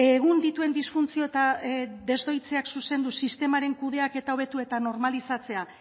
egun dituen disfuntzio eta desdoitzeak zuzendu sistemaren kudeaketa hobetu eta normalizatzea